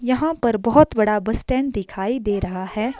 यहां पर बहोत बड़ा बस स्टैंड दिखाई दे रहा है।